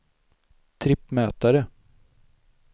trippmätare